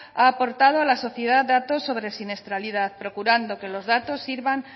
ha aportado a la sociedad datos sobre siniestralidad procurando que los datos sirvan